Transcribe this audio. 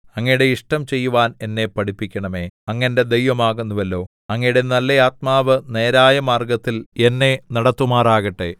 അങ്ങയുടെ ഇഷ്ടം ചെയ്യുവാൻ എന്നെ പഠിപ്പിക്കണമേ അങ്ങ് എന്റെ ദൈവമാകുന്നുവല്ലോ അങ്ങയുടെ നല്ല ആത്മാവ് നേരായ മാർഗ്ഗത്തിൽ എന്നെ നടത്തുമാറാകട്ടെ